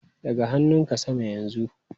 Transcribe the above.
Ɗaga hannunka sama yanzu!